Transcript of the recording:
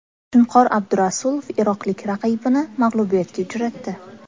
Shunqor Abdurasulov iroqlik raqibini mag‘lubiyatga uchratdi .